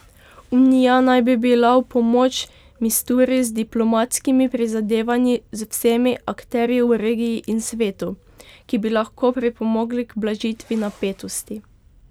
Unija naj bi bila v pomoč Misturi z diplomatskimi prizadevanji z vsemi akterji v regiji in svetu, ki bi lahko pripomogli k blažitvi napetosti.